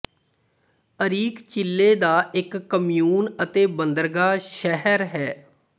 Arica Chile ਦਾ ਇੱਕ commune ਅਤੇ ਬੰਦਰਗਾਹ ਸ਼ਹਿਰ ਹੈ